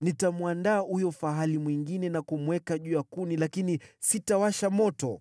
Nitamwandaa huyo fahali mwingine na kumweka juu ya kuni lakini sitawasha moto.